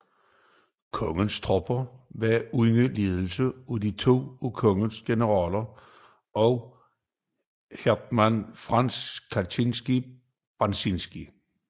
Kongens tropper var under ledelse af to af kongens generaler og af hétman Franciszek Ksawery Branicki